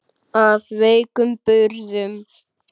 Af veikum burðum.